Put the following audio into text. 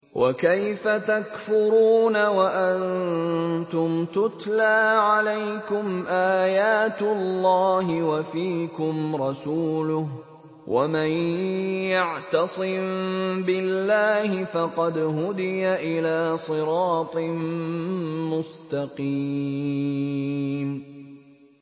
وَكَيْفَ تَكْفُرُونَ وَأَنتُمْ تُتْلَىٰ عَلَيْكُمْ آيَاتُ اللَّهِ وَفِيكُمْ رَسُولُهُ ۗ وَمَن يَعْتَصِم بِاللَّهِ فَقَدْ هُدِيَ إِلَىٰ صِرَاطٍ مُّسْتَقِيمٍ